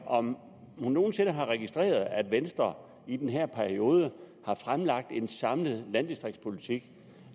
om hun nogen sinde har registreret at venstre i den her periode har fremlagt en samlet landdistriktspolitik